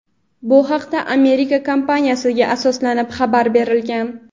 Bu haqda Amerika kompaniyasiga asoslanib xabar berilgan.